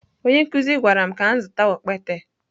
Onye nkụzi gwara m ka m zụta okpete.